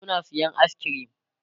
suna sayan ayis kirim